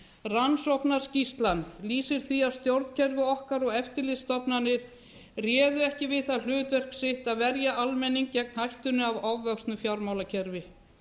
rannsóknarskýrslan lýsir því að stjórnkerfi okkar og eftirlitsstofnanir réðu ekki við það hlutverk sitt að verja almenning gegn hættunni af ofvöxnu fjármálakerfi